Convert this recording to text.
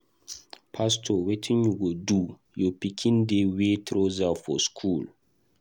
Pastor wetin you go do? Your pikin dey wear trouser for school.